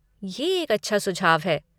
ये एक अच्छा सुझाव है।